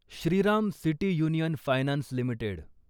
Shriram city union finance limited